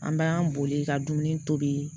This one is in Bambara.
An b'an boli ka dumuni tobi